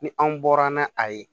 Ni anw bɔra n'a ye